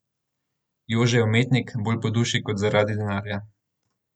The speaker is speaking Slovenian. Jože je umetnik, bolj po duši kot zaradi denarja.